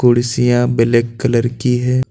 कुर्सियां black colour की है।